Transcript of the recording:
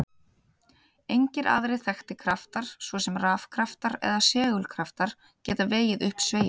Engir aðrir þekktir kraftar, svo sem rafkraftar eða segulkraftar, geta vegið upp sveigjuna.